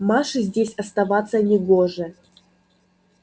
маше здесь оставаться не гоже